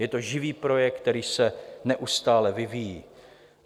Je to živý projekt, který se neustále vyvíjí.